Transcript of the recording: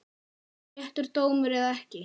Réttur dómur eða ekki?